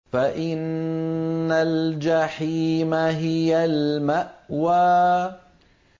فَإِنَّ الْجَحِيمَ هِيَ الْمَأْوَىٰ